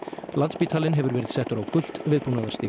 landspítalinn hefur verið settur á gult viðbúnaðarstig